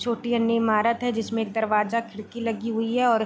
छोटी एंड इमारत है जिसमें एक दरवाजा खिड़की लगी हुई है और --